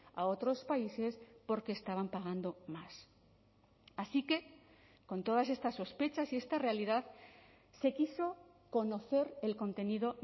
a otros países porque estaban pagando más así que con todas estas sospechas y esta realidad se quiso conocer el contenido